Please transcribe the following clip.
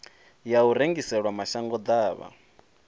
ya u rengisela mashango ḓavha